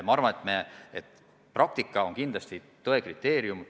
Ma arvan, et praktika on kindlasti tõe kriteerium.